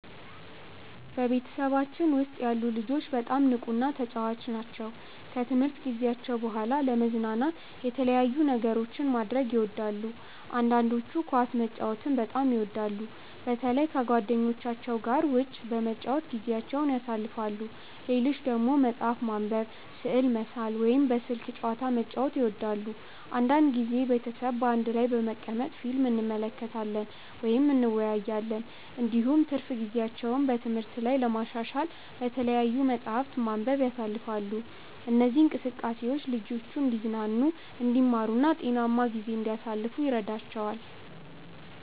በቤተሰባችን ውስጥ ያሉ ልጆች በጣም ንቁና ተጫዋች ናቸው። ከትምህርት ጊዜያቸው በኋላ ለመዝናናት የተለያዩ ነገሮችን ማድረግ ይወዳሉ። አንዳንዶቹ ኳስ መጫወትን በጣም ይወዳሉ፣ በተለይ ከጓደኞቻቸው ጋር ውጭ በመጫወት ጊዜያቸውን ያሳልፋሉ። ሌሎች ደግሞ መጽሐፍ ማንበብ፣ ስዕል መሳል ወይም በስልክ ጨዋታ መጫወት ይወዳሉ። አንዳንድ ጊዜ ቤተሰብ በአንድ ላይ በመቀመጥ ፊልም እንመለከታለን ወይም እንወያያለን። እንዲሁም ትርፍ ጊዜያቸውን በትምህርት ላይ ለማሻሻል በተለያዩ መጻሕፍት ማንበብ ያሳልፋሉ። እነዚህ እንቅስቃሴዎች ልጆቹ እንዲዝናኑ፣ እንዲማሩ እና ጤናማ ጊዜ እንዲያሳልፉ ይረዳቸዋል።